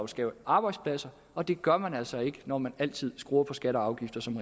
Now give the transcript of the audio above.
skabe arbejdspladser og det gør man altså ikke når man altid skruer på skatter og afgifter som